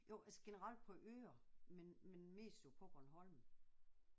Jo altså generelt på øer men men mest jo på Bornholm